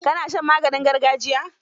Ka na shan maganin gargajiya?